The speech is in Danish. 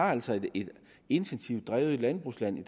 er altså et intensivt drevet landbrugsland